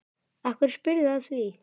Af hverju spyrðu að því?